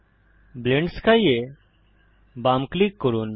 blend sky এ বাম click করুন